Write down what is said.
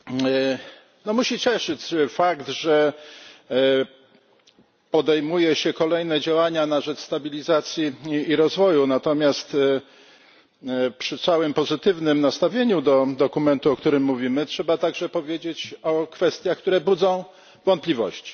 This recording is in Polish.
Pani Przewodnicząca! Musi cieszyć fakt, że podejmuje się kolejne działania na rzecz stabilizacji i rozwoju, natomiast przy całym pozytywnym nastawieniu do dokumentu, o którym mówimy, trzeba także powiedzieć o kwestiach, które budzą wątpliwości.